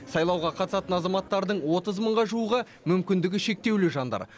сайлауға қатысатын азаматтардың отыз мыңға жуығы мүмкіндігі шектеулі жандар